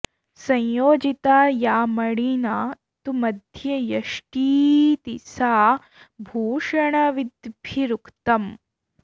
संयोजिता या मणिना तु मध्ये यष्टीति सा भूषणविद्भिरुक्तम्